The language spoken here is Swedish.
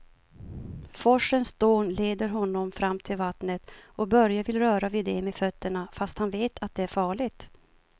Forsens dån leder honom fram till vattnet och Börje vill röra vid det med fötterna, fast han vet att det är farligt.